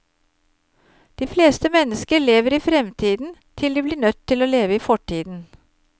De fleste mennesker lever i fremtiden, til de blir nødt til å leve i fortiden.